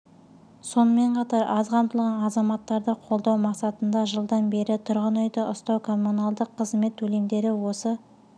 сонымен қатар аз қамтылған азаматтарды қолдау мақсатында жылдан бері тұрғын үйді ұстау коммуналдық қызмет төлемдері осы